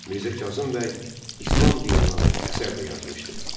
Mirzə Kazım bəy İslam dininə aid əsər də yazmışdı.